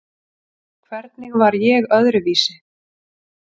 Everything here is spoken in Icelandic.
Hvernig var ég öðruvísi?